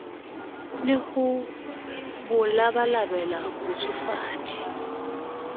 le ho bo labalabela botsofadi